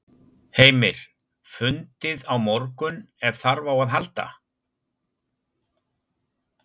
Heimir: Fundið á morgun ef þarf á að halda?